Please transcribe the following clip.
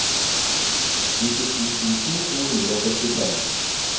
nittisju tusen to hundre og sekstifem